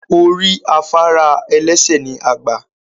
Orí afárá ẹlẹ́sẹ̀ ni a gbà